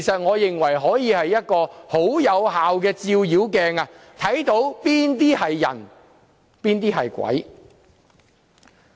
我認為這是一面很有效的照妖鏡，分清誰是人，誰是鬼。